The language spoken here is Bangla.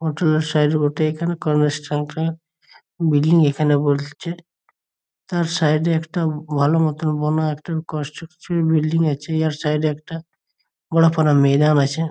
ও টা সাইড বটে একটা কনভার্সেশন -টা বিল্ডিং এইখানে বলছে। তার সাইড একটা ভালো মতো বন মতো কন্সট্রাকশন বিল্ডিং বলছে এর সাইড একটা বড় মতো মেদান আছে।